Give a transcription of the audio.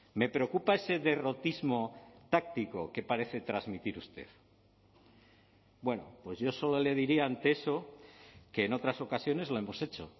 me preocupa ese derrotismo táctico que parece transmitir usted bueno pues yo solo le diría ante eso que en otras ocasiones lo hemos hecho